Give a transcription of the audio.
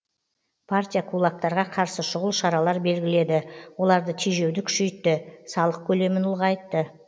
партия кулактарға қарсы шұғыл шаралар белгіледі оларды тежеуді күшейтті салық көлемін ұлғайтты